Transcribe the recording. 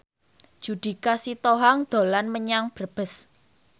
Judika Sitohang dolan menyang Brebes